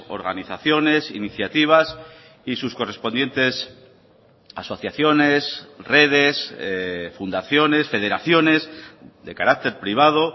organizaciones iniciativas y sus correspondientes asociaciones redes fundaciones federaciones de carácter privado